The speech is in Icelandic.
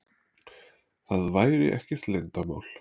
Það væri ekkert leyndarmál.